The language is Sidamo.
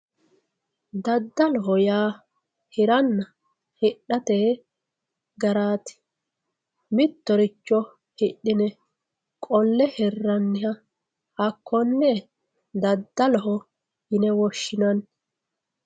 daddaloho yaa hiranna hidhatete garaati mittoricho hidhine qolle hirraanniha hakkonne daddaloho yine woshshinanni.